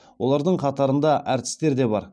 олардың қатарында әртістер де бар